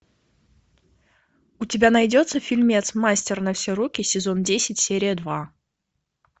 у тебя найдется фильмец мастер на все руки сезон десять серия два